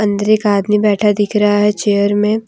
अंदर का एक आदमी बैठा दिख रहा है चेयर में।